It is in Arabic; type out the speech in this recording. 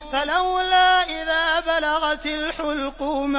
فَلَوْلَا إِذَا بَلَغَتِ الْحُلْقُومَ